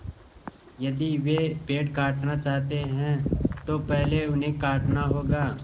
यदि वे पेड़ काटना चाहते हैं तो पहले उन्हें काटना होगा